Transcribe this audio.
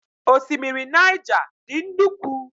Osimiri Naija dị nnukwu